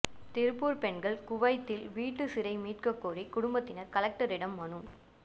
திருப்பூர் பெண்கள் குவைத்தில் வீட்டு சிறை மீட்கக் கோரி குடும்பத்தினர் கலெக்டரிடம் மனு